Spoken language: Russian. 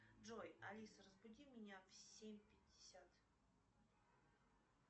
джой алиса разбуди меня в семь пятьдесят